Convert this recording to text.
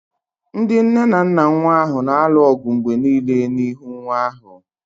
Ndị nne na nna nwa ahụ na-alụ ọgụ mgbe niile n'ihu nwa ahụ